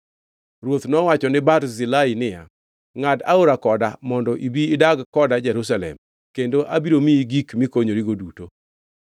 Ruoth nowacho ni Barzilai niya, “Ngʼad aora koda mondo ibi idag koda Jerusalem, kendo abiro miyi gik mikonyorigo duto.”